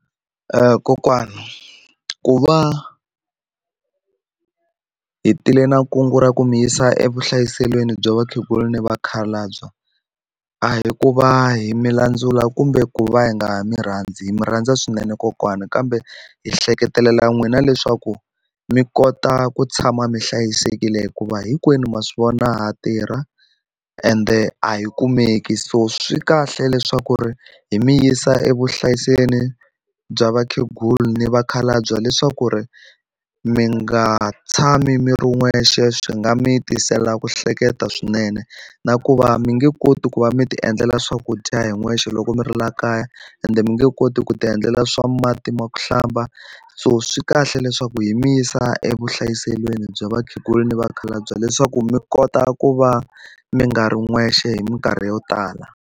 Kokwana ku va hi tile na kungu ra ku mi yisa evuhlayiselweni bya vakhegula ni vakhalabya a hi ku va hi mi landzula kumbe ku va hi nga mi rhandzi hi mi rhandza swinene kokwana kambe hi hleketelela n'wina leswaku mi kota ku tshama mi hlayisekile hikuva hinkwenu ma swi vona ha tirha ende a hi kumeki so swi kahle leswaku ri hi mi yisa evuhlayiselweni bya vakhegula ni vakhalabya leswaku ri mi nga tshami mi ri wexe swi nga mi tisela ku hleketa swinene na ku va mi nge koti ku va mi ti endlela swakudya hi n'wexe loko mi ri la kaya ende mi nge koti ku ti endlela swa mati ma ku hlamba so swi kahle leswaku yi mi yisa evuhlayiselweni bya vakhegula ni vakhalabye leswaku mi kota ku va mi nga ri n'wexe hi minkarhi yo tala.